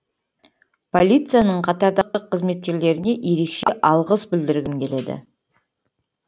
полицияның қатардағы қызметкерлеріне ерекше алғыс білдіргім келеді